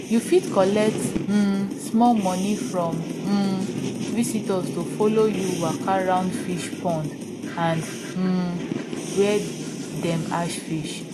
you fit collect um small money from um visitors to follow you waka round fish pond and um where dem hatch fish